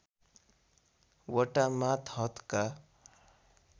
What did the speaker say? वटा मातहतका